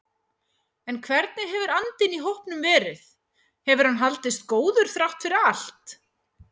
En hvernig hefur andinn í hópnum verið, hefur hann haldist góður þrátt fyrir allt?